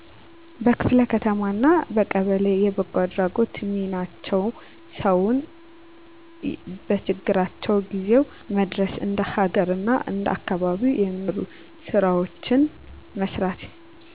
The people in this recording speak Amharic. በክፍለ ከተማ አና በቀበሌ የበጎአድራጎት :ሚናቸው ሰውን በችግራቸው ጊዜው መድረስ እንደ ሀገር አና እንደአካባቢው የሚሰሩ ስራወችን መስራት